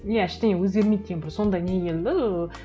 иә ештеңе өзгермейді деген бір сондай не келді ыыы